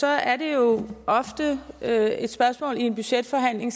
er det jo ofte et et spørgsmål i en budgetforhandling